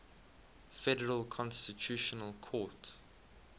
federal constitutional court